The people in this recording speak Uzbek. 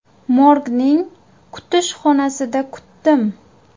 Morgning kutish xonasida kutdim.